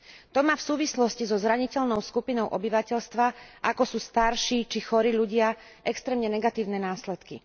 To má v súvislosti so zraniteľnou skupinou obyvateľstva, ako sú starší či chorí ľudia, extrémne negatívne následky.